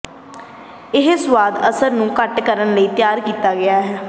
ਇਹ ਸੁਆਦ ਅਸਰ ਨੂੰ ਘੱਟ ਕਰਨ ਲਈ ਤਿਆਰ ਕੀਤਾ ਗਿਆ ਹੈ